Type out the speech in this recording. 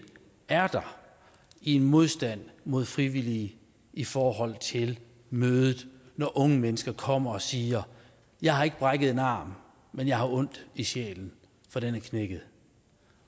er der en modstand mod frivillige i forhold til mødet når unge mennesker kommer og siger jeg har ikke brækket en arm men jeg har ondt i sjælen for den er knækket